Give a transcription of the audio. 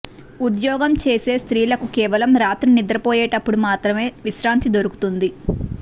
ఉద్యోగం చేసే స్త్రీలకి కేవలం రాత్రి నిద్రపోయేటప్పుడు మాత్రమే విశ్రాంతి దొరుకుతుంది